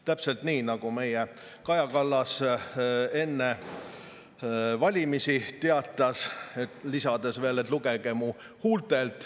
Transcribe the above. Täpselt nii, nagu meie Kaja Kallas enne valimisi teatas, lisades veel: "Lugege mu huultelt.